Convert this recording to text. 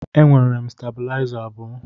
E nwere m stebulaiza abụọ.